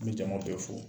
N bɛ jamaw bɛɛ fɔ